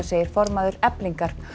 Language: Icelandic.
segir formaður Eflingar